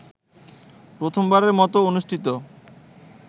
প্রথমবারের মতো অনুষ্ঠিত